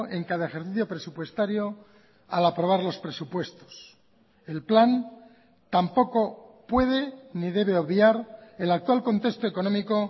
en cada ejercicio presupuestario al aprobar los presupuestos el plan tampoco puede ni debe obviar el actual contexto económico